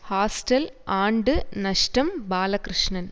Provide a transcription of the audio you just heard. hostel ஆண்டு நஷ்டம் பாலகிருஷ்ணன்